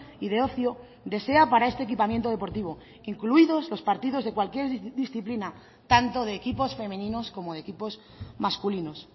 y de ocio desea para este equipamiento deportivo incluidos los partidos de cualquier disciplina tanto de equipos femeninos como de equipos masculinos